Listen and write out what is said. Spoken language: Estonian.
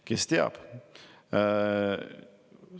Kes teab?